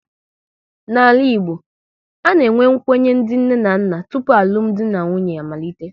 N'ala Igbo, a na-enwe nkwenye ndị nne na nna tụpụ alụmdi na nwunye amalite